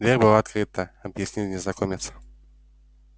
дверь была открыта объяснил незнакомец